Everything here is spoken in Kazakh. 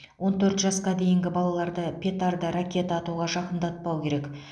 он төрт жасқа дейінгі балаларды петарда ракета атуға жақындатпау керек